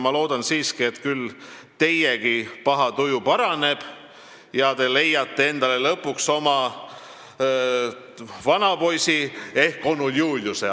Ma loodan siiski, et küll teiegi paha tuju paraneb ja te leiate endale lõpuks oma vanapoisi ehk onu Juliuse.